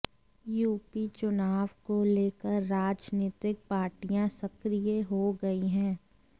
UP चुनाव को लेकर राजनीतिक पार्टियां सक्रिय हो गई है